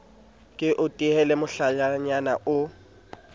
ke o tehele mohlalanyana o